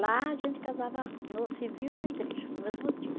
Lá a gente casava no civil e na igreja, no mesmo dia.